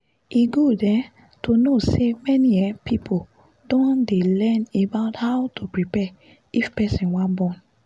e good um to know say many um people don dey learn about how to prepare if person wan born